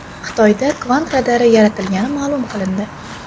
Xitoyda kvant radari yaratilgani ma’lum qilindi.